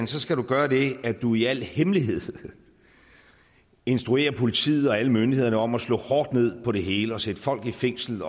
skal du gøre det at du i al hemmelighed instruerer politiet og alle myndighederne om at slå hårdt ned på det hele og sætte folk i fængsel